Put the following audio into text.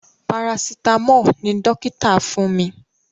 Parasitamọ́ọ̀ ni dókítà fún mi